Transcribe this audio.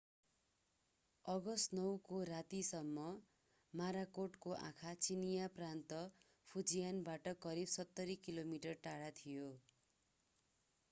August 9 को रातिसम्म मोराकोटको आँखा चिनियाँ प्रान्त फुजियानबाट करिव सत्तरी किलोमिटर टाढा थियो